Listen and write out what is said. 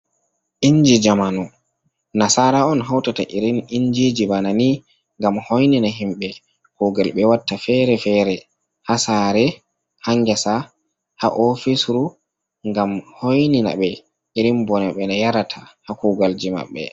Inji jamanu, nasara on hawtata iri injiji bana ni. Ngam hoynina himɓe kuugal ɓe watta fere-fere haa saare, haa ngesa, haa ofisru ngam hoynina ɓe, iri bone ɓe yarata, haa kuugalji maɓɓe.